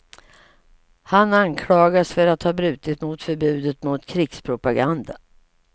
Han anklagas för att ha brutit mot förbudet mot krigspropaganda.